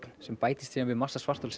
sem bætist svo við massa svartholsins